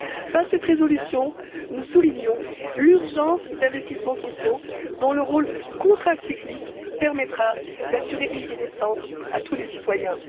Par cette résolution, nous soulignons l'urgence d'investissements sociaux dont le rôle contracyclique permettra d'assurer une vie décente à tous les citoyens.